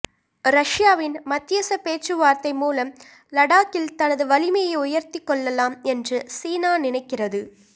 ரஷ்யாவின் மத்தியச பேச்சுவார்த்தை மூலம் லடாக்கில் தனது வலிமையை உயர்த்திக் கொள்ளலாம் என்று சீனா நினைக்கிறது